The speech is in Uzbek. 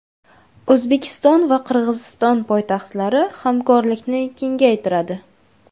O‘zbekiston va Qirg‘iziston poytaxtlari hamkorlikni kengaytiradi .